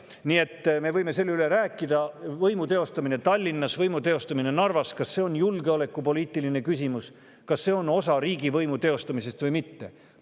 Nii et me võime, kas võimu teostamine Tallinnas, võimu teostamine Narvas on julgeolekupoliitiline küsimus, kas see on osa riigivõimu teostamisest või mitte.